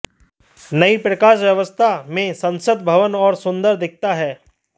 नई प्रकाश व्यवस्था में संसद भवन और सुंदर दिखता है